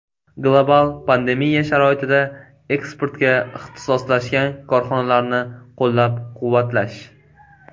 Global pandemiya sharoitida eksportga ixtisoslashgan korxonalarni qo‘llab-quvvatlash.